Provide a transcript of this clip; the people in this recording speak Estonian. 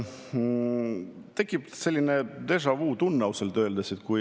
Tekib selline déjà‑vu-tunne ausalt öeldes.